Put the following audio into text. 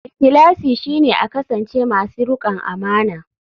Ikhlasi shine a kasance masu rikon amana.